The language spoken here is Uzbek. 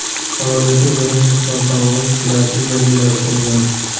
Samolyotning birinchi sinov parvozi kelasi yilga rejalashtirilgan.